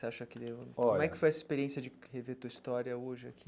Você acha que olha como é que foi essa experiência de rever tua história hoje aqui?